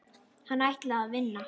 Hann ætlaði að vinna.